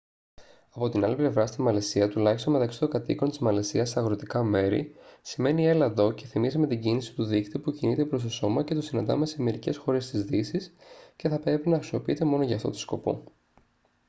από την άλλη πλευρά στη μαλαισία τουλάχιστον μεταξύ των κατοίκων της μαλαισίας σε αγροτικά μέρη σημαίνει «έλα εδώ» και θυμίζει με την κίνηση του δείκτη που κινείται προς το σώμα και το συναντάμε σε μερικές χώρες της δύσης και θα έπρεπε να χρησιμοποιείται μόνο για αυτό το σκοπό